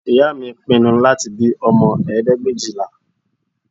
Ìyá mi pinnu láti bí ọmọ ẹ̀ẹ́dẹ́gbẹ̀éjìlá